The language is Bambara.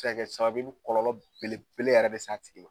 A be se ka kɛ sababu ye , i bi kɔlɔlɔ belebele yɛrɛ de sa tigi ma.